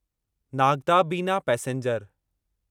Nagda Bina passenger